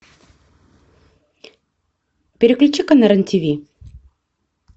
переключи ка на рен тиви